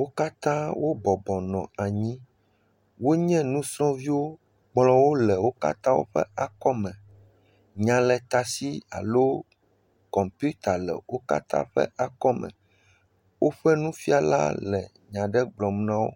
Wo katã wo bɔbɔnɔ anyi, wonye nusrɔ̃viwo, kplɔwo le wo katã ƒe akɔme, nyaletasi alo kɔmpita le wo katã ƒe akɔme, woƒe nufiala le nya aɖe gblɔm na wo